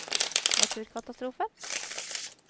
naturkatastrofer